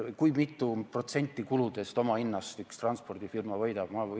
Kui mitu protsenti kuludest, omahinnast üks transpordifirma võidab?